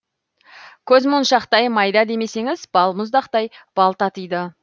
көзмоншақтай майда демесеңіз балмұздақтай бал татиды